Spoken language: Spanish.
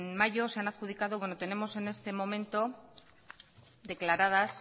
mayo se han adjudicado tenemos en este momento declaradas